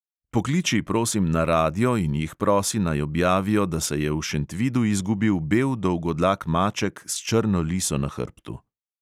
Pokliči, prosim, na radio in jih prosi, naj objavijo, da se je v šentvidu izgubil bel dolgodlak maček s črno liso na hrbtu.